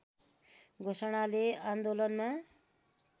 घोषणाले आन्दोलनमा